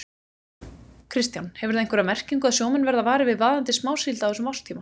Kristján: Hefur það einhverja merkingu að sjómenn verða varir við vaðandi smásíld á þessum árstíma?